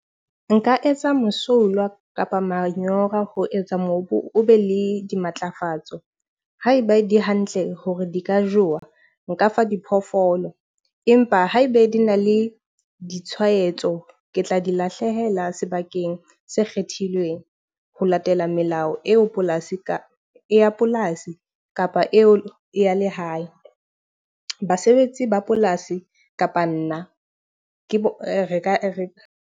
Nka etsa Mosolwa kapa manyora ho etsa mobu o be le di matlafatso. Haeba di hantle hore di ka jowa, nka fa diphoofolo. Empa haebe di na le ditshwaetso, ke tla di lahlehela sebakeng se kgethilweng. Ho latela melao eo polasi ka ya polasi, kapa eo ya lehae. Basebetsi ba polasi kapa nna, ke re ka re.